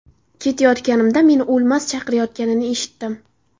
Ketayotganimda, meni O‘lmas chaqirayotganini eshitdim.